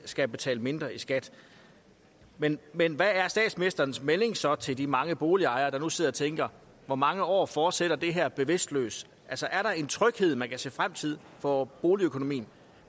skal betale mindre i skat men men hvad er statsministerens melding så til de mange boligejere der nu sidder og tænker hvor mange år fortsætter det her bevidstløst altså er der en tryghed man kan se frem til for boligøkonomien